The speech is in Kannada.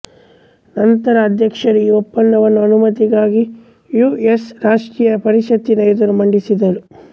ನಂತರ ಅಧ್ಯಕ್ಷರು ಈ ಒಪ್ಪಂದವನ್ನು ಅನುಮತಿಗಾಗಿ ಯು ಎಸ್ ರಾಷ್ಟ್ರೀಯ ಪರಿಷತ್ತಿನ ಎದುರು ಮಂಡಿಸಿದರು